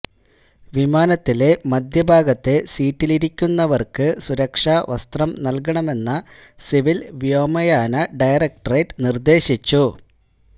വിമാനത്തിലെ മധ്യഭാഗത്തെ സീറ്റിലിരിക്കുന്നവര്ക്ക് സുരക്ഷാവസ്ത്രം നല്കണമെന്ന സിവില് വ്യോമയാന ഡയറക്ടറേറ്റ് നിര്ദ്ദേശിച്ചു